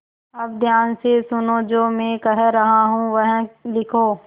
अब ध्यान से सुनो जो मैं कह रहा हूँ वह लिखो